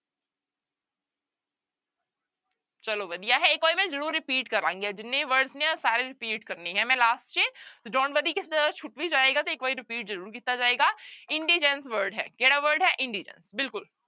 ਚਲੋ ਵਧੀਆ ਹੈ ਇੱਕ ਵਾਰੀ ਮੈਂ ਜ਼ਰੂਰ repeat ਕਰਾਂਗੀ ਜਿੰਨੇ words ਨੇ ਸਾਰੇ repeat ਕਰਨੇ ਹੈ ਮੈਂ last ਚ ਤੇ don't worry ਕਿਸੇ ਦਾ ਸੁੱਟ ਵੀ ਜਾਏਗਾ ਤੇ ਇੱਕ ਵਾਰੀ repeat ਜ਼ਰੂਰ ਕੀਤਾ ਜਾਏਗਾ indigence word ਹੈ ਕਿਹੜਾ word ਹੈ indigence ਬਿਲਕੁਲ।